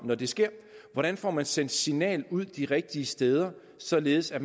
når det sker hvordan får man sendt et signal ud de rigtige steder således at